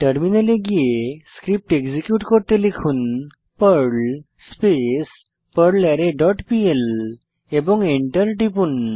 টার্মিনালে গিয়ে Perl script execute করতে লিখুন পার্ল স্পেস পারলারে ডট পিএল এবং এন্টার টিপুন